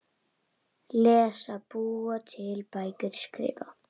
Lesa- búa til bækur- skrifa